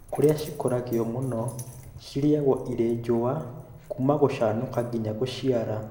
Kũrĩa cikũragĩrio mũno cirĩagwo irĩ njũa kuma gũcanũka nginya gũciara